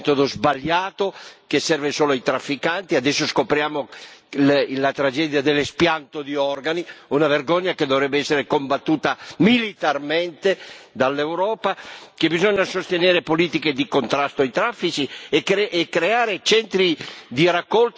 Adesso scopriamo la tragedia dell'espianto di organi, una vergogna che dovrebbe essere combattuta militarmente dall'Europa, bisogna sostenere politiche di contrasto dei traffici e creare centri di raccolta, di identificazione e di assistenza anche in Africa.